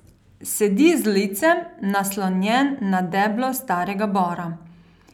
Sedi z licem naslonjen na deblo starega bora.